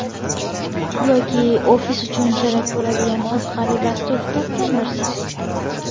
Yoki ofis uchun kerak bo‘ladigan qiziqarli dastur topgandirsiz.